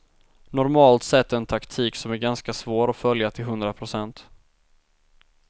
Normalt sett en taktik som är ganska svår att följa till hundra procent.